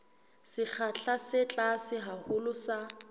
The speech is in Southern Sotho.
sekgahla se tlase haholo sa